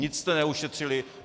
Nic jste neušetřili.